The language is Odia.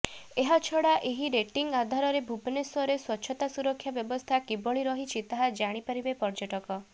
ଏହାଛଡା ଏହି ରେଟିଂ ଆଧାରରେ ଭୁବନେଶ୍ୱରରେ ସ୍ୱଚ୍ଛତା ସୁରକ୍ଷା ବ୍ୟବସ୍ଥା କିଭଳି ରହିଛି ତାହା ଜାଣିପାରିବେ ପର୍ଯ୍ୟଟକ